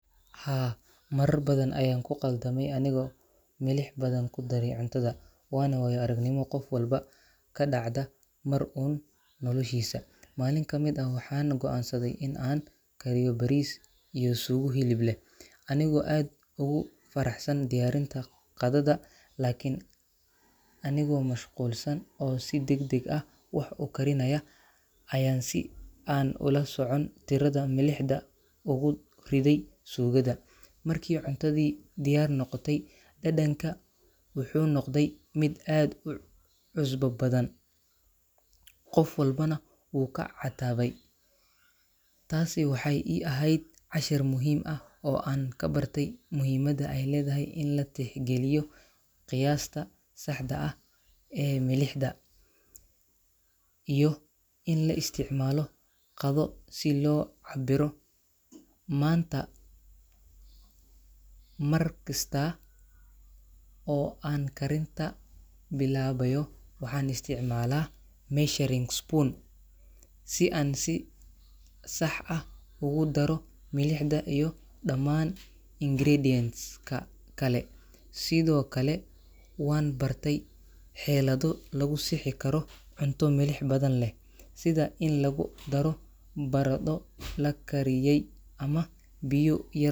Haa, marar badan ayaan ku khaldamey anigoo milix badan ku daray cuntada, waana waayo-aragnimo qof walba ka dhacda mar uun noloshiisa. Maalin ka mid ah waxaan go’aansaday inaan kariyo bariis iyo suugo hilib leh, anigoo aad ugu faraxsan diyaarinta qadada. Laakiin anigoo mashquulsan oo si degdeg ah wax u karinaya, ayaan si aan ula socon tirada milixda ugu riday suugada. Markii cuntadii diyaar noqotay, dhadhanka wuxuu noqday mid aad u cusbo badan, qof walbana wuu ka catabay. Taasi waxay ii ahayd cashar muhiim ah oo aan ka bartay muhiimada ay leedahay in la tixgeliyo qiyaasta saxda ah ee milixda, iyo in la isticmaalo qadho si loo cabbiro. Maanta, markasta oo aan karinta bilaabayo, waxaan isticmaalaa measuring spoon si aan si sax ah ugu daro milixda iyo dhamaan ingredients-ka kale. Sidoo kale, waan bartay xeelado lagu sixi karo cunto milix badan leh, sida in lagu daro baradho la kariyey ama biyo yar.